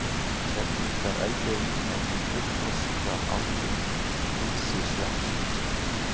Kerlingareldurinn er því fullþroskað aldin físisveppsins.